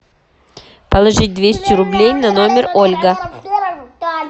положить двести рублей на номер ольга